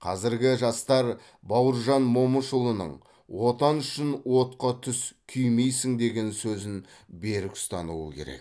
қазіргі жастар бауыржан момышұлының отан үшін отқа түс күймейсің деген сөзін берік ұстануы керек